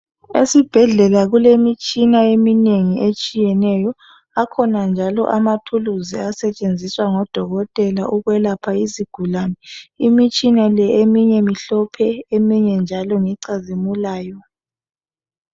Esibhedlela kulemitshina eminingi etshiyeneyo. Akhona njalo amathuluzi asetshenziswa ngodokotela ukwelapha izigulane. Imitshina le eminye imhlophe, eminye njalo ngecazimulayo.